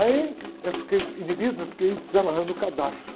Aí eu fiquei inibido, eu fiquei desamarrando o cadarço.